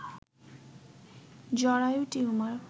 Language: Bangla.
জরায়ু টিউমার